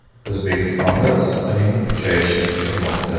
O‘zbekistonda issiqning kuchayishi kutilmoqda.